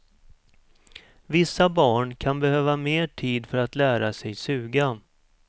Vissa barn kan behöva mer tid för att lära sig suga.